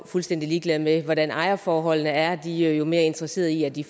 fuldstændig ligeglade med hvordan ejerforholdene er de er jo mere interesserede i at de